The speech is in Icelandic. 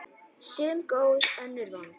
Sum góð, önnur vond.